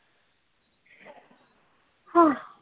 हा